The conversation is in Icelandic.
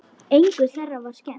Engu þeirra var skemmt.